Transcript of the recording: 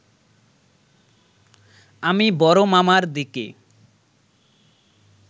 আমি বড় মামার দিকে